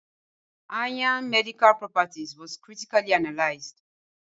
Ayan medical properties was critically analyzed. ê ̧ ì